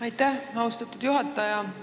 Aitäh, austatud juhataja!